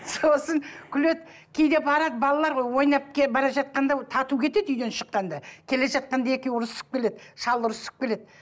сосын күледі кейде барады балалар ғой ойнап бара жатқанда тату кетеді үйден шыққанда келе жатқанда екеуі ұрысып келеді шал ұрысып келеді